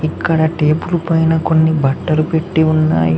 ఇక్కడ టేబులు పైన కొన్ని బట్టలు పెట్టి ఉన్నాయి.